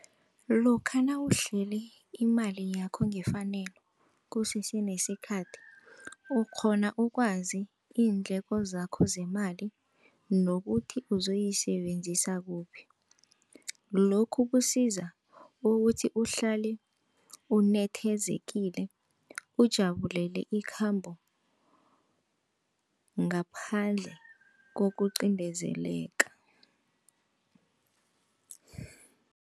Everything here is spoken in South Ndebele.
Lokha nawuhlele imali yakho ngefanelo kusese nesikhathi ukghona ukwazi iindleko zakho zemali nokuthi ozoyisebenzisa kuphi. Lokhu kusiza ukuthi uhlale unethezekile, ujabulele ikhambo ngaphandle kokucindezeleka.